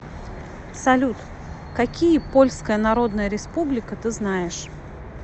салют какие польская народная республика ты знаешь